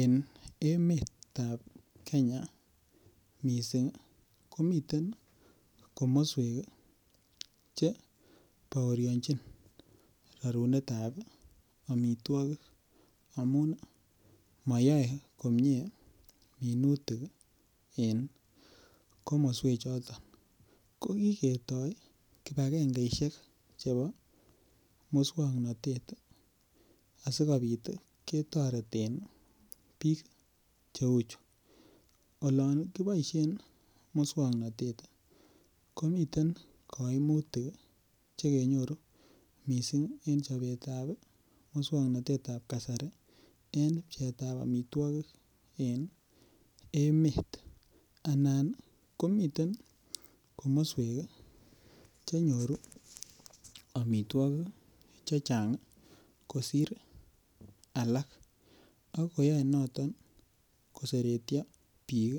En emetab Kenya mising komiten komoswek Che baorionjin rorunetab amitwogik amun moyoe komie minutik en komoswechoto ko kiketoi kibagengesiek Che bo moswoknatet asikobit ketoreten bik Che uchu olon kiboisien moswoknatet komiten kaimutik Che kenyoru mising en chobetab moswoknatet ab kasari pcheetab amitwogik en emet anan komiten komoswek Che nyoru amitwogik Che Chang kosir alak ak koyoe noton koseretyo bik